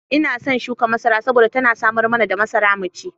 Ina son shukar masara saboda tana samar mana da masara mu ci.